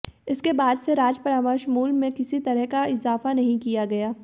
इसके बाद से राज्य परामर्श मूल्य में किसी तरह का इजाफा नहीं किया गया